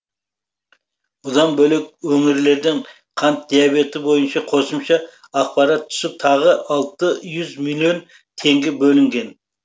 бұдан бөлек өңірлерден қант диабеті бойынша қосымша ақпарат түсіп тағы алты жүз миллион теңге бөлінген